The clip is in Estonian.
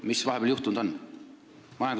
Mis on vahepeal juhtunud?